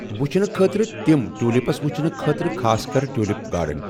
وٕچھنہٕ خٲطرٕ تِم ٹیوٗلِپٕس وٕچھنہٕ خٲطرٕ خاص کَر ٹیوٗلِپ گاڑَن۔